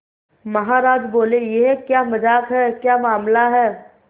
महाराज बोले यह क्या मजाक है क्या मामला है